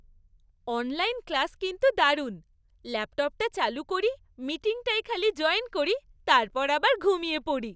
Online class কিন্তু দারুণ। ল্যাপটপটা চালু করি, মিটিংটায় খালি জয়েন করি, তারপর আবার ঘুমিয়ে পড়ি।